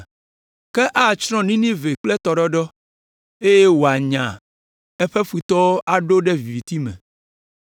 Ke atsrɔ̃ Ninive kple tɔɖɔɖɔ, eye wòanya eƒe futɔwo aɖo ɖe viviti me.